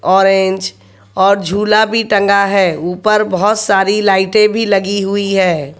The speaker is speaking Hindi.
ऑरेंज और झूला भी टंगा है ऊपर बहोत सारी लाइटे भी लगी हुई है।